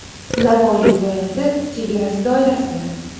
Navoiy viloyati chegarasi doirasida.